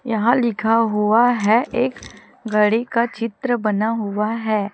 यहां लिखा हुआ है एक घड़ी का चित्र बना हुआ है।